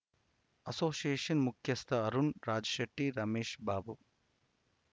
association ಮುಖ್ಯಸ್ಥ ಅರುಣ್‌ ರಾಜಶೆಟ್ಟಿ ರಮೇಶ್‌ ಬಾಬು